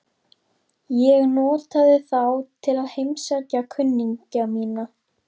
Ég notaði þá til að heimsækja kunningja mína.